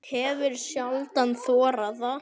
Hefur sjaldan þorað það.